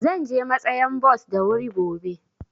Zan je matsayan bos da wuri gobe.